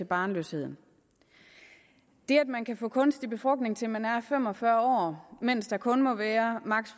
barnløshed det at man kan få kunstig befrugtning til man er fem og fyrre år mens der kun må være